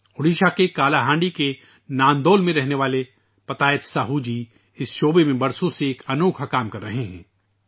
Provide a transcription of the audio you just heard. اوڈیشہ کے کالا ہانڈی کے نندول میں رہنے والے پتایت ساہو جی ، برسوں سے اس علاقے میں ایک انوکھا کام کر رہے ہیں